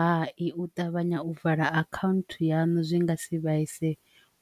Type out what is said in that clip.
Hai, u ṱavhanya u vala account yanu zwi nga si vhuise